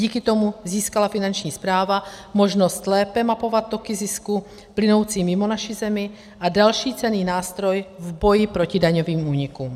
Díky tomu získala Finanční správa možnost lépe mapovat toky zisků plynoucí mimo naši zemi a další cenný nástroj v boji proti daňovým únikům.